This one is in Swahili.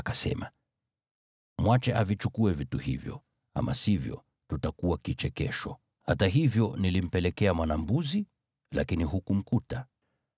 Kisha Yuda akasema, “Mwache avichukue vitu hivyo, ama sivyo tutakuwa kichekesho. Hata hivyo, nilimpelekea mwana-mbuzi, lakini hukumkuta.”